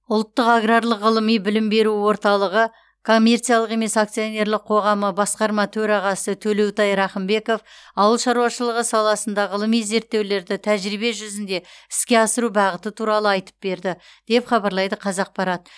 ұлттық аграрлық ғылыми білім беру орталығы коммерциялық емес акционерлік қоғамы басқарма төрағасы төлеутай рақымбеков ауыл шаруашылығы саласында ғылыми зерттеулерді тәжірибе жүзінде іске асыру бағыты туралы айтып берді деп хабарлайды қазақпарат